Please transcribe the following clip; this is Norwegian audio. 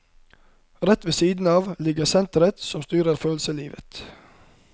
Rett ved siden av ligger senteret som styrer følelseslivet.